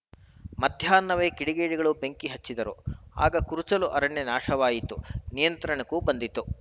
ಮಧ್ಯಾಹ್ನವೇ ಕಿಡಿಗೇಡಿಗಳು ಬೆಂಕಿ ಹಚ್ಚಿದ್ದರು ಆಗ ಕುರುಚಲು ಅರಣ್ಯ ನಾಶವಾಗಿತ್ತು ನಿಯಂತ್ರಣಕ್ಕೂ ಬಂದಿತ್ತು